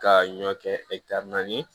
Ka ɲɔ kɛ naani ye